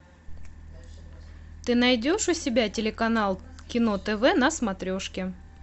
ты найдешь у себя телеканал кино тв на смотрешке